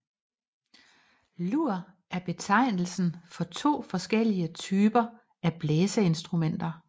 Lur er betegnelsen for to forskellige typer af blæseinstrumenter